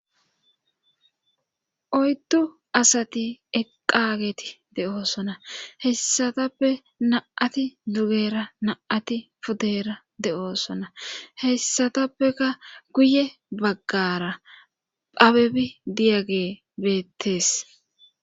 oyddu asati eqageti de7oosona hessatappe na7ati dugera na7ati podeera de7oosona hessatappeka guye baggara phabebi diyage beettes